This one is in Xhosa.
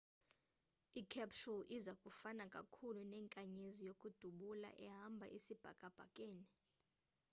i-capsule iza kufana kakhulu nenkanyezi yokudubula ehamba isibhakabhakeni